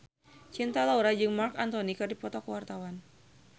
Cinta Laura jeung Marc Anthony keur dipoto ku wartawan